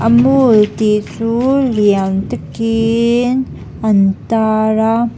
mall tih chu lian takin an tar a.